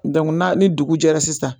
na ni dugujɛra sisan